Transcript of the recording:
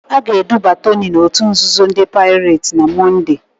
A ga-eduba Toni n'òtù nzuzo ndị Paịret na Mọnde.